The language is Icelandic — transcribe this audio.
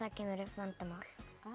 kemur upp vandamál